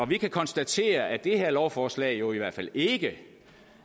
vi kan konstatere at det her lovforslag jo i hvert fald ikke